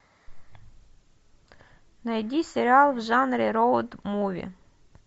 найди сериал в жанре роуд муви